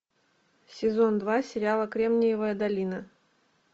сезон два сериала кремниевая долина